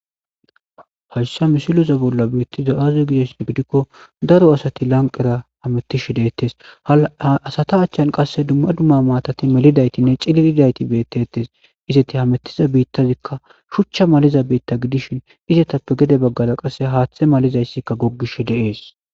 hayssa misileza bolla biitti da7aze gides bidikko daro asati lanqera hamettishe deettes asata achchan qasse dumma dumma maatati melidaytinne cililidayti bettettes izeti hamettiza biittazikka shuchcha maliza biitta gidishin izatappe gede baggala qasse haaththe malizayssika goggish de'es